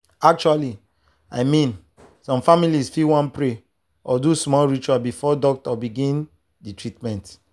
actually i mean some families fit wan pray or do small ritual before doctor begin the treatment.